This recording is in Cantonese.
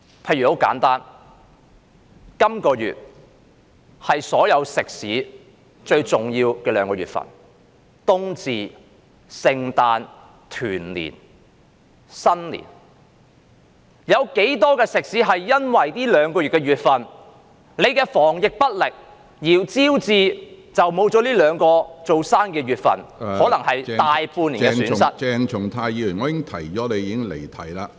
很簡單，例如這兩個月是所有食肆一年中最重要的時間，當中包含冬至、聖誕、新年和團年幾個節日，有多少食肆因政府防疫不力而失去這兩個月的生意，可能招致大半年的損失......